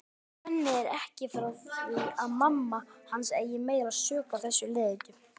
Svenni er ekki frá því að mamma hans eigi meiri sök á þessum leiðindum.